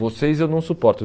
Vocês eu não suporto.